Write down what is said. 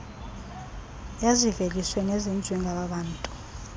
eziveliswe nezenziwe ngababntu